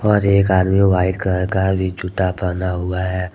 और एक आदमी व्हाइट कलर का भी जूता पहना हुआ है।